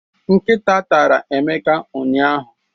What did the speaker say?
Nkịta tara Emeka ụnyahụ